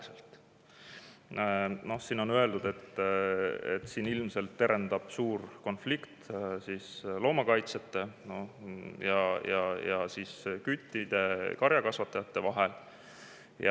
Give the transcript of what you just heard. Selle peale on öeldud, et sel juhul ilmselt terendab suur konflikt loomakaitsjate ning küttide ja karjakasvatajate vahel.